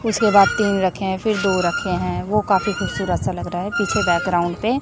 उसके बाद तीन रखे हैं फिर दो रखे हैं वो काफी खूबसूरत सा लग रहा है पीछे बैकग्राउंड पे।